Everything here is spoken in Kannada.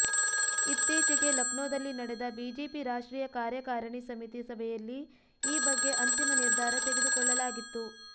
ಇತ್ತೀಚೆಗೆ ಲಕ್ನೋದಲ್ಲಿ ನಡೆದ ಬಿಜೆಪಿ ರಾಷ್ಟ್ರೀಯ ಕಾರ್ಯಕಾರಣಿ ಸಮಿತಿ ಸಭೆಯಲ್ಲಿ ಈ ಬಗ್ಗೆ ಅಂತಿಮ ನಿರ್ಧಾರ ತೆಗೆದುಕೊಳ್ಳಲಾಗಿತ್ತು